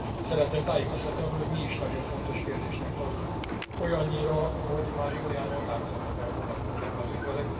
Szeretném tájékoztatni arról, hogy mi is nagyon fontos kérdésnek tartjuk, olyannyira, hogy már jó néhány határozatot elfogadtunk ebben az ügyben.